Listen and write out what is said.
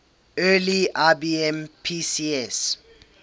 early ibm pcs